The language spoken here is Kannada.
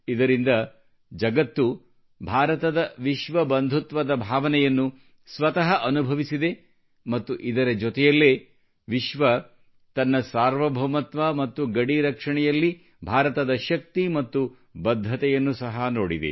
ಇದರಿಂದ ಜಗತ್ತು ಭಾರತದ ವಿಶ್ವ ಬಂಧುತ್ವದ ಭಾವನೆಯನ್ನು ಸ್ವತಃ ಅನುಭವಿಸಿದೆ ಮತ್ತು ಇದರ ಜೊತೆಯಲ್ಲೇ ವಿಶ್ವವು ನಮ್ಮ ಸಾರ್ವಭೌಮತ್ವ ಮತ್ತು ಗಡಿ ರಕ್ಷಣೆಯಲ್ಲಿ ಭಾರತದ ಶಕ್ತಿ ಮತ್ತು ಬದ್ಧತೆಯನ್ನು ಸಹಾ ನೋಡಿದೆ